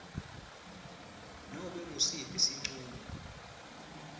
nobe ngusiphi sincumo